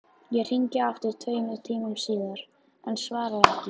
Ég hringi aftur tveimur tímum síðar, enn svarar ekki.